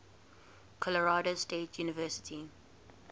colorado state university